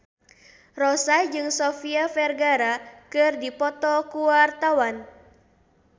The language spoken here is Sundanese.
Rossa jeung Sofia Vergara keur dipoto ku wartawan